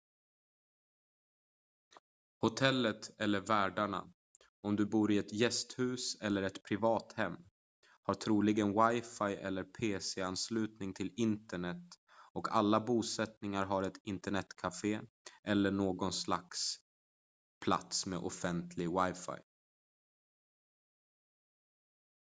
hotellet eller värdarna om du bor i ett gästhus eller ett privat hem har troligen wifi eller en pc ansluten till internet och alla bosättningar har ett internetcafé eller någon plats med offentligt wifi